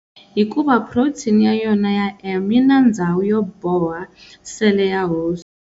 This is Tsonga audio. Hikuva protein ya yona ya M yina ndzhawu yo boha sele ya host.